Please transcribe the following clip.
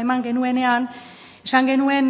eman genuenean esan genuen